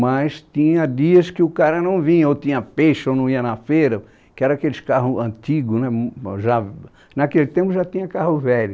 Mas tinha dias que o cara não vinha, ou tinha peixe ou não ia na feira, que era aqueles carros antigos né m é, naquele tempo já tinha carro velho.